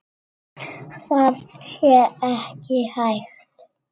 Það sé ekki hægt.